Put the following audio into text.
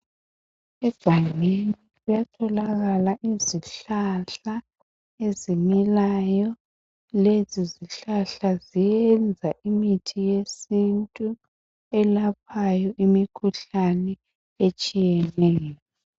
egangeni kuyatholakala izihlahla ezimilayo lezi zihlahla ziyenza imithi yesintu elaphayo imikhuhlane etshiyeneyo